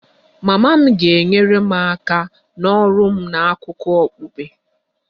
Mama m ga-enyere m aka n'ọrụ m na akụkọ okpukpe